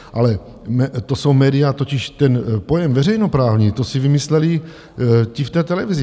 Ale to jsou média - totiž ten pojem veřejnoprávní, to si vymysleli ti v té televizi.